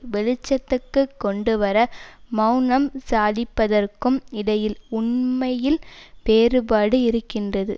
வெளிச்சத்துக்கு கொண்டுவர மெளனம் சாதிப்பதற்கும் இடையில் உண்மையில் வேறுபாடு இருக்கின்றது